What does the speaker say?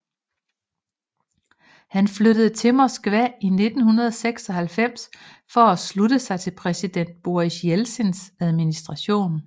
Han flyttede til Moskva i 1996 for at slutte sig til præsident Boris Jeltsins administration